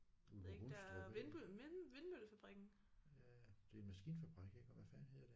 Ude ved Hundstrup af. Ja det er en maskinfabrik ik og hvad fanden hedder den